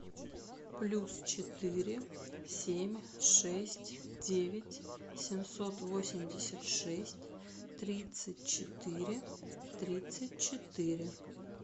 плюс четыре семь шесть девять семьсот восемьдесят шесть тридцать четыре тридцать четыре